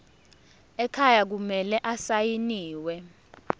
ekhaya kumele asayiniwe